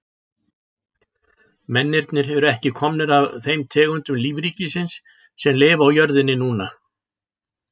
Mennirnir eru ekki komnir af þeim tegundum lífríkisins sem lifa á jörðinni núna.